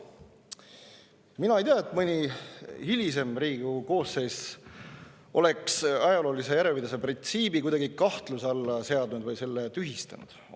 Mina ei tea, et mõni hilisem Riigikogu koosseis oleks ajaloolise järjepidevuse printsiibi kuidagi kahtluse alla seadnud või tühistanud.